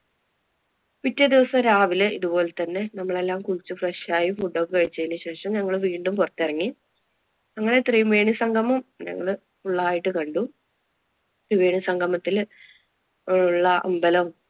പിറ്റേദിവസം രാവിലെ ഇതുപോലെ തന്നെ നമ്മളെല്ലാം കുളിച്ച് fresh ആയി food ഒക്കെ കഴിച്ചതിനു ശേഷം ഞങ്ങള് വീണ്ടും പുറത്തിറങ്ങി. അങ്ങനെ ത്രിവേണി സംഗമം ഞങ്ങള് full ആയിട്ട് കണ്ടു ത്രിവേണി സംഗമത്തില് ഒള്ള അമ്പലം,